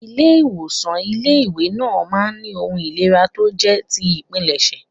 Ilé ìwòsàn ilé ìwé náà máa ń ní ohun ìlera tó jẹ́ ti ìpilẹ̀ṣẹ̀.